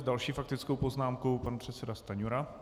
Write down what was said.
S další faktickou poznámkou pan předseda Stanjura.